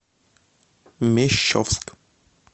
мещовск